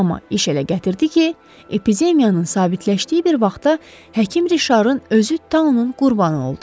Amma iş elə gətirdi ki, epidemiyanın sabitləşdiyi bir vaxtda həkim Rişarın özü taunun qurbanı oldu.